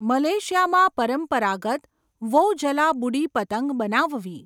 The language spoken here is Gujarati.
મલેશિયામાં પરંપરાગત વૌ જલા બુડી પતંગ બનાવવી.